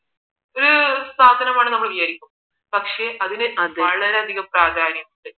സാധനമാണെന്ന് നമ്മൾ വിചാരിക്കും പക്ഷേ അതിന് വളരെയധികം പ്രാധാന്യമുണ്ട്